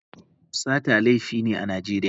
Sata laifi ne a Najeriya.